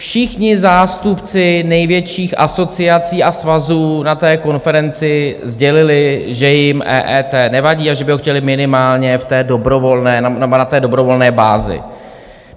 Všichni zástupci největších asociací a svazů na té konferenci sdělili, že jim EET nevadí a že by ho chtěli minimálně na té dobrovolné bázi.